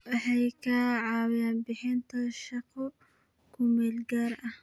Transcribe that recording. Waxay ka caawiyaan bixinta shaqo ku meel gaar ah.